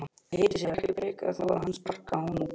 Léti sér ekki bregða þó að hann sparkaði honum út.